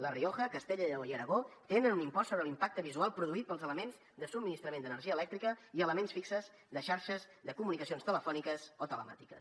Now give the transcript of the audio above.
la rioja castella i lleó i aragó tenen un impost sobre l’impacte visual produït pels elements de subministrament d’energia elèctrica i elements fixos de xarxes de comunicacions telefòniques o telemàtiques